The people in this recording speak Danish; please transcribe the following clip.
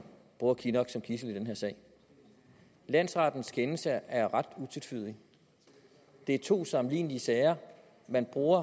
bruger kinnock som gidsel i denne sag landsrettens kendelse er ret utvetydig det er to sammenlignelige sager man bruger